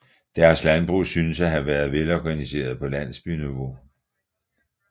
Deres landbrug synes at have været velorganiseret på landsbyniveau